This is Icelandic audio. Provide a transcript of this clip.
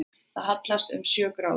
Það hallast um sjö gráður